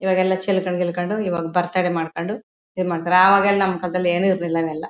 ಈವಾಗ ಎಲ್ಲಾ ಚಿಲ್ಕನ್ಡ್ ಗಿಲ್ಕಂಡ್ ಈವಾಗ್ ಬರ್ತ್ಡೇ ಮಾಡ್ಕೊಂಡು ಇದು ಮಾಡ್ತಾರೆ ಆವಾಗ ಎಲ್ಲಾ ನಮ್ಗ್ ಅದೆಲ್ಲ ಏನು ಇರ್ಲಿಲ್ಲ.